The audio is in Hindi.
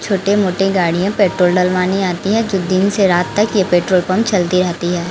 छोटे मोटे गाड़ियां पेट्रोल डलवानी आती हैं जो दिन से रात तक ये पेट्रोल पंप चलती रहती है।